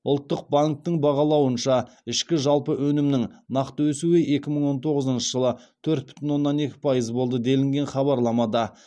ұлттық банктің бағалауынша ішкі жалпы өнімнің нақты өсуі екі мың он тоғызыншы жылы төрт бүтін оннан екі пайыз болды делінген хабарламада